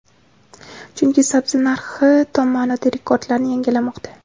chunki sabzi narxi tom ma’noda rekordlarni yangilamoqda.